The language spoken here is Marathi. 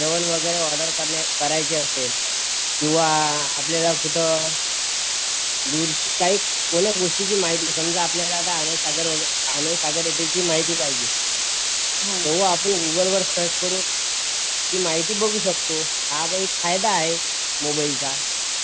जेवण वगैरे ऑर्डर करण्यास करायचे असेल किव्हा आपल्याला कुठं दूरच्या काही कोण्या गोष्टीची माहित समजा आपल्याला आता अनंत सागर वगैरे ची माहित पाहिजे तेव्हा आपण गुगल वर सर्च करून ती माहिती बघू शकतो हा पण एक फायदा आहे मोबाईलचा